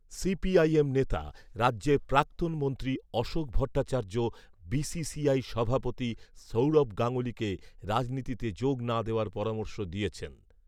CPIM নেতা রাজ্যের প্রাক্তন মন্ত্রী অশোক ভট্টাচার্য, সভাপতি সৌরভ গাঙ্গুলিকে রাজনীতিতে যোগ না দেওয়ার পরামর্শ দিয়েছেন।